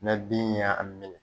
Nɛ bin yan a minɛ